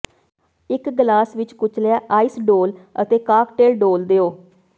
ਇੱਕ ਗਲਾਸ ਵਿੱਚ ਕੁਚਲਿਆ ਆਈਸ ਡੋਲ੍ਹ ਅਤੇ ਕਾਕਟੇਲ ਡੋਲ੍ਹ ਦਿਓ